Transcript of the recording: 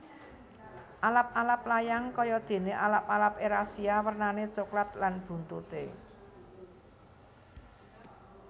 Alap alap layang kaya dene alap alap erasia wernane coklat lan buntute